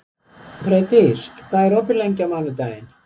Freydís, hvað er opið lengi á mánudaginn?